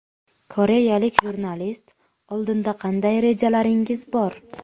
Koreyalik jurnalist: Oldinda qanday rejalaringiz bor?